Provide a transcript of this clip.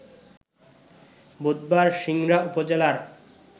বুধবার সিংড়া উপজেলার